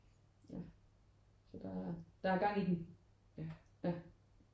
Så så der er gang i den ja